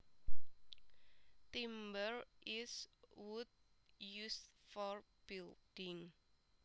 Timber is wood used for building